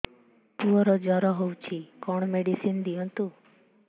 ପୁଅର ଜର ହଉଛି କଣ ମେଡିସିନ ଦିଅନ୍ତୁ